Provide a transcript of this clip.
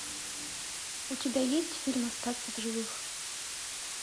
у тебя есть фильм остаться в живых